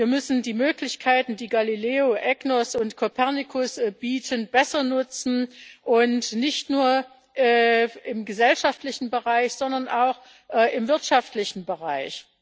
Wir müssen die Möglichkeiten, die Galileo, EGNOS und Copernicus bieten, besser nutzen, nicht nur im gesellschaftlichen Bereich, sondern auch im wirtschaftlichen Bereich.